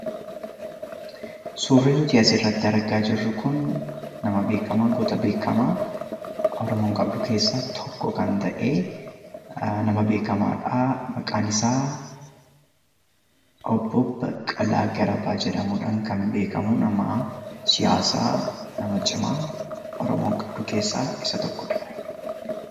Suurri nuti asirratti argaa jirru kun nama beekamaa goota beekamaa Oromoon qabdu keessaa tokko kan ta'e, nama beekamaadha. Maqaan isaa obbo Baqqalaa Garbaa jedhamuudhaan kan beekamu nama siyaasaa nama cimaa Oromoon qabdu keessaa isa tokko dha.